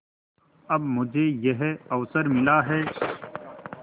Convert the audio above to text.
अब मुझे यह अवसर मिला है